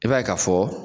I b'a ye ka fɔ